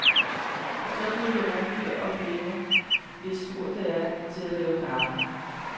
Så bliver vi rummelige og glemmer, hvis tur det er til at lave kaffe.